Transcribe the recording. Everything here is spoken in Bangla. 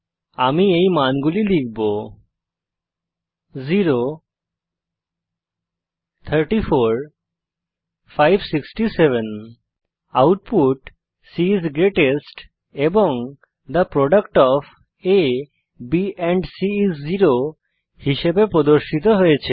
আমি এই মানগুলি লিখব আউটপুট c আইএস গ্রেটেস্ট এবং the product of a b and c is zero হিসাবে প্রদর্শিত হয়েছে